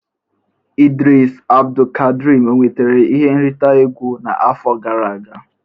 Idris Abdulkadrim e nwetara ihe nrite egwu n'afọ gara aga?